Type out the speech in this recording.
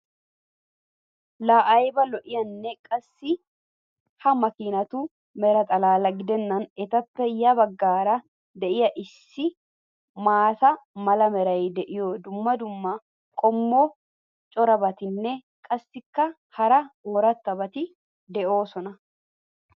Laa ayba lo'iyoonaa! Qassi ha makkiinatu mera xalaala gidenan etappe ya bagaara diya issi maata mala meray diyo dumma dumma qommo corabatinne qassikka hara darobatti doosona.